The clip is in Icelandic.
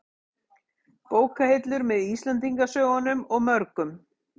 Bókahillur, með Íslendingasögunum og mörgum